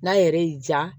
N'a yɛrɛ y'i diya